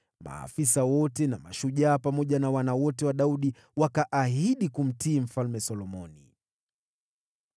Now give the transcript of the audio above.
Maafisa wote na mashujaa, pamoja na wana wote wa Daudi, wakaahidi kumtii Mfalme Solomoni.